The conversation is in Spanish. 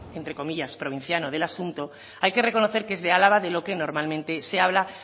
entre comillas provinciano del asunto hay que reconocer que es de álava de lo que normalmente se habla